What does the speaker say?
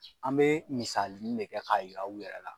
An bɛ misalinin ne kɛ k'a yira aw yɛrɛ la.